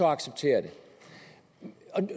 acceptere det